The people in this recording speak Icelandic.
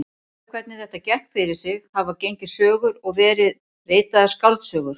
Um það hvernig þetta gekk fyrir sig hafa gengið sögur og verið ritaðar skáldsögur.